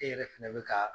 E yɛrɛ fɛnɛ bɛ ka